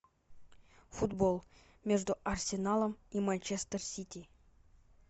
футбол между арсеналом и манчестер сити